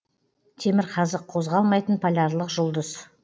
темірқазық қозғалмайтын полярлық жұлдыз